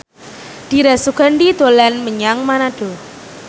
Dira Sugandi dolan menyang Manado